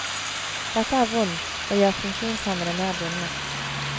Dette er vondt, og gjør funksjonshemmede mer bundet.